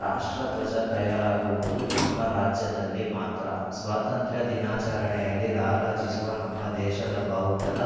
ರಾಷ್ಟ್ರಧ್ವಜ ತಯಾರಾಗುವುದು ನಮ್ಮ ರಾಜ್ಯದಲ್ಲಿ ಮಾತ್ರ ಸ್ವಾತಂತ್ರ್ಯ ದಿನಾಚರಣೆಯಲ್ಲಿ ರಾರಾಜಿಸುವ ನಮ್ಮ ದೇಶದ ಬಾವುಟದ